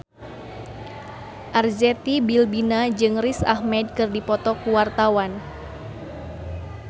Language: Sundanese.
Arzetti Bilbina jeung Riz Ahmed keur dipoto ku wartawan